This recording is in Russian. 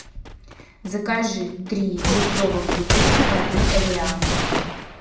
закажи три литровых бутылки воды эвиан